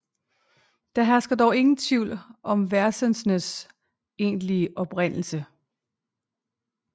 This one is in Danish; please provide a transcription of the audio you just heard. Der hersker dog tvivl om versenes egentlige oprindelse